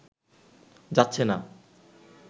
যাচ্ছে না